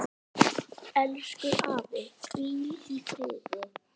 Hún ætlaði að sýna annað.